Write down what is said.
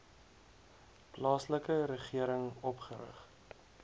plaaslike regering opgerig